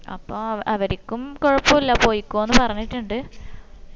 അപ്പം അവരിക്കും കൊഴപ്പുള്ള പോയിക്കൊന്ന് പറഞ്ഞിട്ടിണ്ട്